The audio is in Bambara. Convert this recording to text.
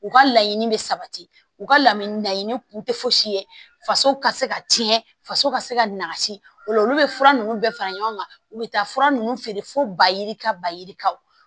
U ka laɲini bɛ sabati u ka lamini laɲini kun tɛ fosi ye faso ka se ka tiɲɛ faso ka se ka nasi ola olu bɛ fura ninnu bɛɛ fara ɲɔgɔn kan u bɛ taa fura nunnu feere fo ba yirika ba yirika